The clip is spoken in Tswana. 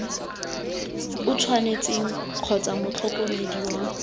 o tshwanetseng kgotsa motlhokomedi wa